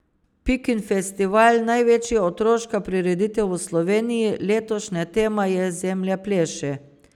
Pikin festival, največja otroška prireditev v Sloveniji, letošnja tema je Zemlja pleše.